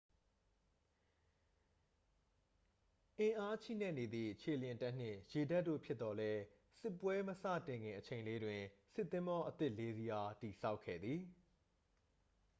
အင်းအာချိနဲ့နေသည့် ခြေလျင်တပ်နှင့် ရေတပ်တို့ ဖြစ်သော်လည်း စစ်ပွဲမစတင်ခင်အချိန်လေးတွင် စစ်သင်္ဘောအသစ် 4 စီးအား တည်ဆောက်ခဲ့သည်